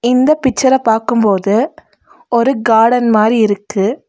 இந்த பிச்சர பாக்கும்போது ஒரு காடன் மாரி இருக்கு.